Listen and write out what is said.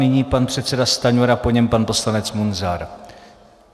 Nyní pan předseda Stanjura, po něm pan poslanec Munzar.